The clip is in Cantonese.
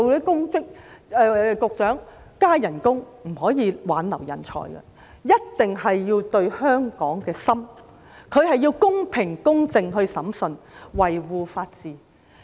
局長，加薪不能挽留人才，一定要有對香港的心，要公平及公正地審訊，維護法治。